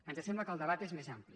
ens sembla que el debat és més ampli